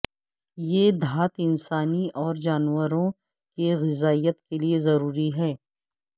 یہ دھات انسانی اور جانوروں کے غذائیت کے لئے ضروری ہے